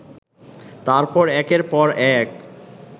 তারপর একের পর এক